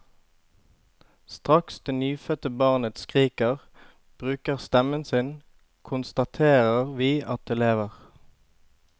Straks det nyfødte barnet skriker, bruker stemmen sin, konstaterer vi at det lever.